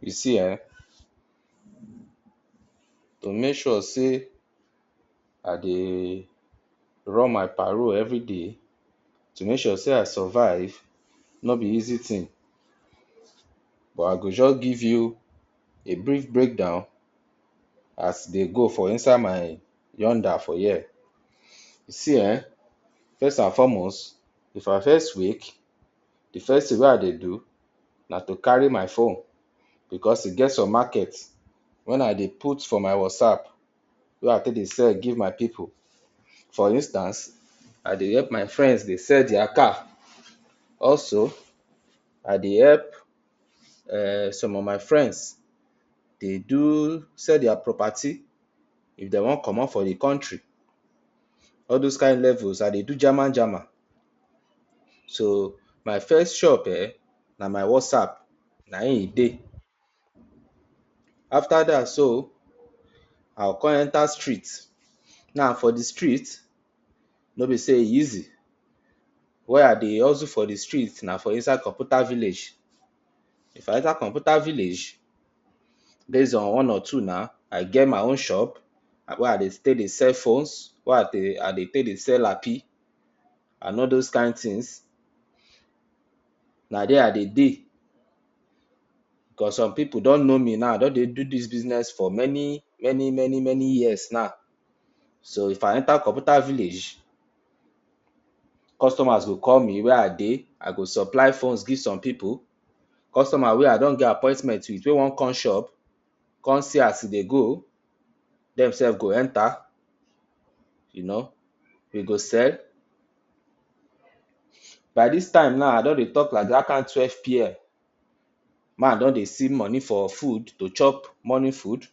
You see enh to make sure say I deyyy run my parole everyday, to make sure say I survive no be easy tin but I go jus give you a brief breakdown as e dey go for insihe my for here. See enh first and foremost, if I first wake the first tin wey I dey do na to carry my phone because e get some market wen I dey put for my Whatsapp wey I take dey sell give my pipu. For instance, I dey help my friends dey sell their car. Also, I dey help some of my friends dey do sell their property if dey wan comot for the country. All dose kain levels I dey do jama jama So my first shop um na my Whatsapp na im e dey. After dat so I'll come enter street. Now for the street, no be say e easy. Where I dey hustle for the street na for inside computa village. If I enter computa village base on say one or two naa, I get my own shop where I stay dey sell phones, where I dey dey take dey sell lappy and all those kain tins. Na dere I dey dey cause some people don know me now, I don dey do dis business for many many many many years now. So if I enter computa village, customers go call me, “where I dey?”. I go supply phones give some people. Customer wey I don get appointment wit, wey wan come shop, come see as e dey go, dem sef go enta, you know, you go sell. By this time now I don dey talk like dat kain twelve pm, make I don dey see money for food to chop morning food.